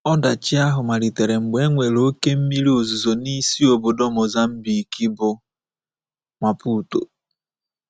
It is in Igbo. Ọdachi ahụ malitere mgbe e nwere oké mmiri ozuzo n’isi obodo Mozambique, bụ́ Maputo.